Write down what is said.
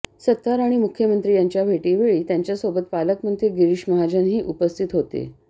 सत्तार आणि मुख्यमंत्री यांच्या भेटीवेळी त्यांच्यासोबत पालकमंत्री गिरीश महाजनही उपस्थित होते